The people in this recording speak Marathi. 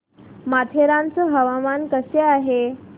माथेरान चं हवामान कसं आहे